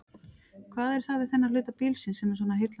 Hvað er það við þennan hluta bílsins sem er svona heillandi?